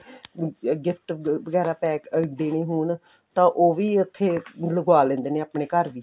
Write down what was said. gift ਵਗੈਰਾ pack ਦੇਣੇ ਹੋਣ ਤਾਂ ਉਹ ਵੀ ਉੱਥੇ ਲਗਵਾ ਲੈਂਦੇ ਨੇ ਆਪਣੇ ਘਰ ਵੀ